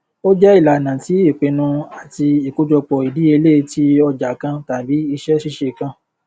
ó jẹ ìlànà ti ìpinnu àti ìkójọpọ ìdíyelé ti ọjà kan tàbí iṣẹ ṣíṣe kan